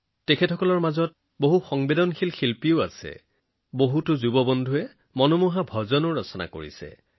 তেওঁলোকৰ মাজত বহু অভিজ্ঞ শিল্পী থকাৰ বিপৰীতে এনে কিছুমান যুৱ শিল্পীও আছে যাৰ ভজন অতি অন্তস্পৰ্শী